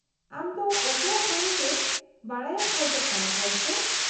-ᱟᱢ ᱫᱚ ᱚᱠᱚᱭᱟᱜ ᱵᱟᱨᱮᱛᱮ ᱵᱟᱰᱟᱭᱮᱢ ᱠᱷᱚᱡ ᱠᱟᱱᱟ , ᱜᱚᱢᱠᱮ ?